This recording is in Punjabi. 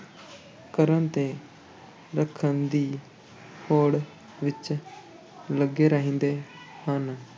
ਕਰਨ ਤੇ ਰੱਖਣ ਦੀ ਹੋੜ ਵਿੱਚ ਲੱਗੇ ਰਹਿੰਦੇ ਹਨ।